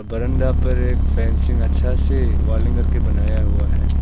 बरामदा में एक फेंसिंग अच्छा से वेल्डिंग करके बनाया हुआ है।